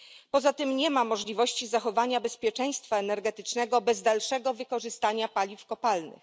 Poza tym nie ma możliwości zachowania bezpieczeństwa energetycznego bez dalszego wykorzystania paliw kopalnych.